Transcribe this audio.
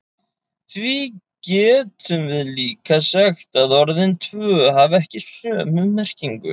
Því getum við líka sagt að orðin tvö hafi ekki sömu merkingu.